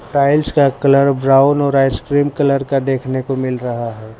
Tiles का colour brown और ice cream colour का देखने को मिल रहा है।